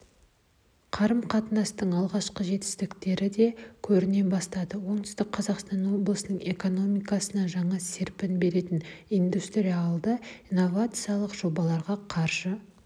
қарым-қатынастың алғашқы жетістіктері де көріне бастады оңтүстік қазақстан облысының экономикасына жаңа серпін беретіниндустриалды-инновациялық жобаларға қаржы